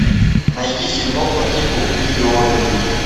найди фильмок по типу видео ревью